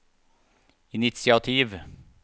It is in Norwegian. initiativ